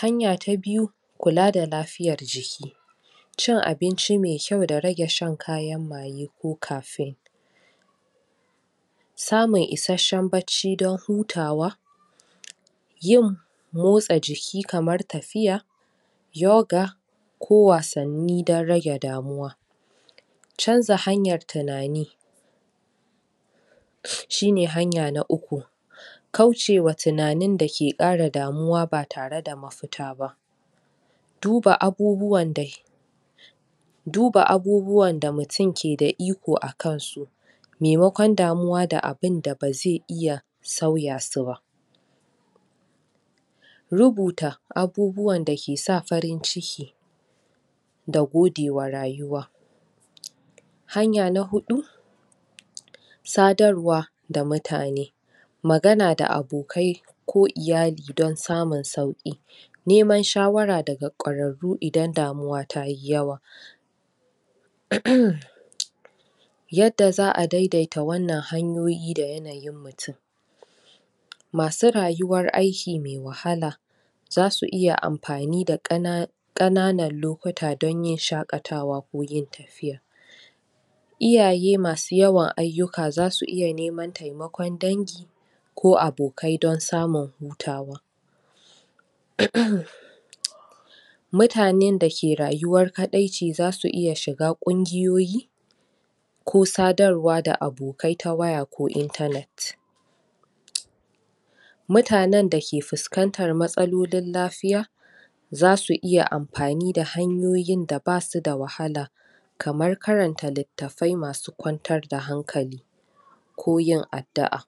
hanya ta biyu, kulla da lafiyar jiki cin abinci mai kyau da rage shan kayan maggi ko cafin samu ishesher bacci dan hutawa yin motsa jiki kamar tafiya yoga ko wasani dan rage damuwa canza hanyar tunani shi ne hanya na uku kauce wa tunani da ke ƙara damuwa ba tare da mafuta ba duba abubuwan da duba abubuwa da mutum ke da iko a kan su maimakon damuwa da abunda ba zai iya sauya su ba rubuta abubuwan da ke sa farinciki da gode wa rayuwa hanya na hudu sadarwa da mutane magana da abokai, ko iyali dan samun sauki neman shawara da ga kararru idan damuwa ta yi yauwa yadda zaa daidaita wannan hanyoyi yi da yanayin mutum masu rayuwar aiki mai wahala za su iya amfani da kana kananar lukuta don yin shakatawa ko yin tafiya Iyaye ma su yawan ayuka za su iya neman taimakon dangi ko abokai don tsamun hutawa mutanen da ke rayuwar kadai ce za su iya shiga kungiyoyi ko sadarwa da abokai ta waya ko internet mutanen da ke fuskantar matsalolin lafiya za su iya amfani da hanyoyi da ba su da wahala kamar karanta litafai ma su kwantar da hankali ko yin addua